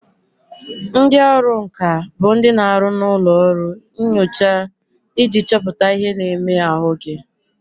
Ndị ọrụ nka bụ ndị na aru na ụlọ nyocha iji chọpụta ihe na-eme ahụ gị